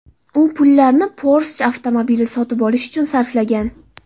U pullarni Porsche avtomobili sotib olish uchun sarflagan.